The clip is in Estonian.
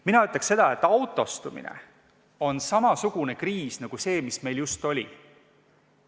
Mina ütleks seda, et autostumine on samasugune kriis nagu see, mis meil just oli.